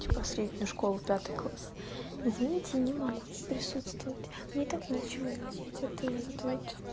типа среднюю школу пятый класс извините не могу не присутствовать мне и так нечего надеть а ты вот это вот